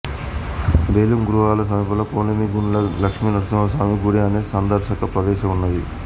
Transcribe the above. బెలుం గుహల సమీపంలో కొలిమిగుండ్ల లక్ష్మీనరసింహ స్వామి గుడి అనే సందర్శక ప్రదేశం ఉన్నది